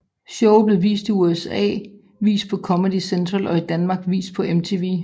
Showet blev i USA vist på Comedy Central og i Danmark vist på MTV